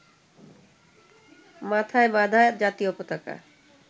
মাথায় বাঁধা জাতীয় পতাকা